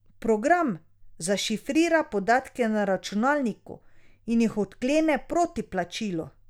Program zašifrira podatke na računalniku in jih odklene proti plačilu.